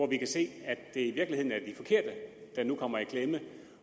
vi kan se at det i virkeligheden er de forkerte der nu kommer i klemme